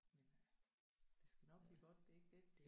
Men øh det skal nok blive godt det er ikke det